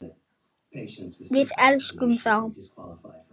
Við elskum þá.